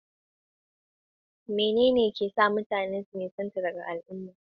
Tsawo masu nisa na kewaye ta gudu mai nisa, yayin da gajeriyar nisa ke kewaye gudu mai ɗan gajeren zango.